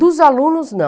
Dos alunos, não.